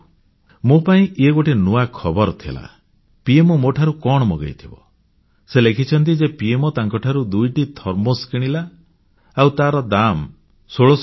ମୋ ପାଇଁ ଇଏ ଗୋଟିଏ ନୂଆ ଖବର ଥିଲା ପିଏମଓ ମୋ ଠାରୁ କଣ ମଗେଇଥିବ ସେ ଲେଖିଛନ୍ତି ଯେ ପିଏମଓ ତାଙ୍କ ଠାରୁ ଦୁଇଟି ଥର୍ମୋସ୍ କିଣିଲା ଆଉ ତାର ଦାମ୍ 1600 ଟଙ୍କା